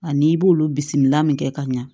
Ani i b'olu bisimila min kɛ ka ɲa